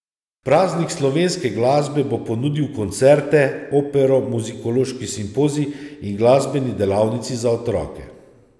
Praznik slovenske glasbe bo ponudil koncerte, opero, muzikološki simpozij in glasbeni delavnici za otroke.